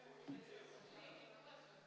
Head ametikaaslased!